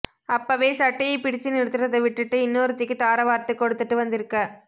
அப்பவே சட்டையை பிடிச்சு நிறுத்துறத விட்டுட்டு இன்னொருத்திக்கு தாரவார்த்து கொடுத்துட்டு வந்திருக்க